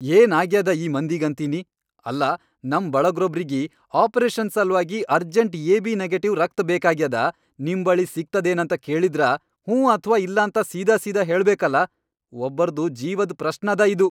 ಏನ್ ಆಗ್ಯಾದ ಈ ಮಂದಿಗಂತೀನಿ, ಅಲ್ಲಾ ನಂ ಬಳಗ್ರೊಬ್ರಿಗಿ ಆಪರೇಷನ್ ಸಲ್ವಾಗಿ ಅರ್ಜೆಂಟ್ ಎ.ಬಿ. ನೆಗೆಟಿವ್ ರಕ್ತ್ ಬೇಕಾಗ್ಯಾದ ನಿಮ್ ಬಳಿ ಸಿಗ್ತದೇನಂತ ಕೇಳಿದ್ರ ಹ್ಞೂ ಅಥ್ವಾ ಇಲ್ಲಾಂತ ಸೀದಾಸೀದಾ ಹೇಳಬೇಕಲಾ. ಒಬ್ಬರ್ದು ಜೀವದ್ ಪ್ರಶ್ನದ ಇದು!